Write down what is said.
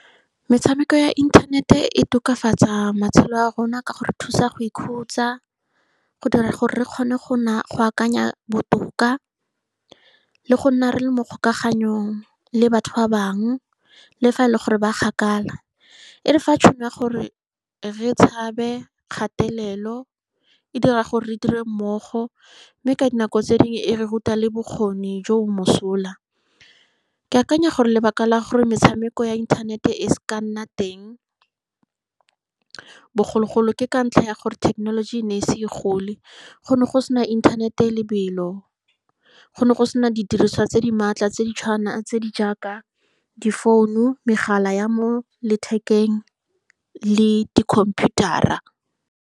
Metshameko ya internet-e e tokafatsa matshelo a rona ka go re thusa go ikhutsa, go dira gore re kgone go , go akanya botoka, le go nna re le mo kgolaganong le batho ba bangwe, le fa e le gore ba kgakala. E re fa tšhono ya gore re tshabe kgatelelo, e dira gore re dire mmogo, mme ka dinako tse dingwe e re ruta le bokgoni jo bo mosola. Ke akanya gore lebaka la gore metshameko ya internet-te e se ke ya nna teng bogologolo ke ka ntlha ya gore thekenologi e ne e se e gole, go ne go sena inthanete e e lobelo, go ne go sena didirisiwa tse di maatla tse di tse di jaaka difounu, megala ya mo lethekeng, le di computer-ra.